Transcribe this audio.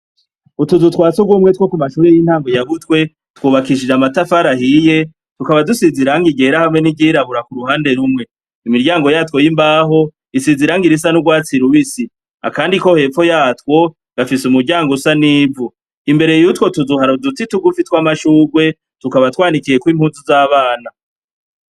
Utuzutwasugumwe two mu mashure y' intango ya butwe, twubakishijwe amatafar'ahiye, tukaba dusiz' irangi ryera hamwe ni ryirabura kuruhande rumwe, imiryango ya two y' imbaho isiz' irangi risa n' urwatsi rubisi, akandi ko hepfo yatwo gafis' umuryang' usa n' ivu, imbere yutwo tuzu har' uduti tugufi twamashurwe tukaba twanikiyek' impuzu z abana.